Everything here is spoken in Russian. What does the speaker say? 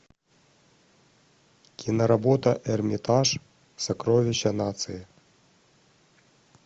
киноработа эрмитаж сокровища нации